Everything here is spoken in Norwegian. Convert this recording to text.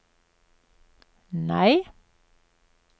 nei